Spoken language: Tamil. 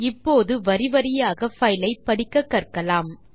இப்போது வரி வரியாக பைல் ஐ படிக்கக்கற்கலாம்